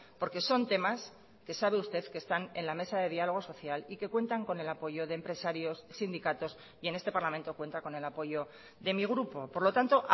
porque son temas que sabe usted que están en la mesa de diálogo social y que cuentan con el apoyo de empresarios sindicatos y en este parlamento cuenta con el apoyo de mi grupo por lo tanto